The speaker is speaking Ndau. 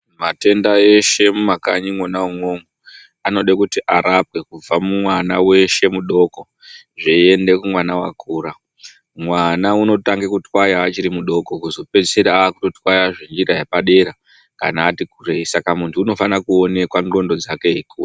Mathenda eshe mumakanyi mwona imwomwo anode kuti arapwe kubva mumwana weshe mudoko zveiyende kumwana wakura. Mwana unotange kutwaya achiri mudoko wozopedzisira aakutotwaye zvenjira yepadera kana ati kureyi saka munthu unofana kuonekwa ndxondo dzake eikura.